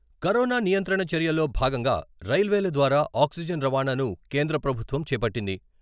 Corona నియంత్రణ చర్యల్లో భాగంగా రైల్వేల ద్వారా ఆక్సిజన్ రవాణాను కేంద్ర ప్రభుత్వం చేపట్టింది.